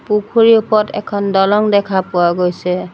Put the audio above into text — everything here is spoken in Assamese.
পুখুৰীৰ ওপৰত এখন দলং দেখা পোৱা গৈছে।